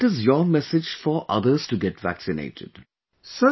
Then what is your message for others to get vaccinated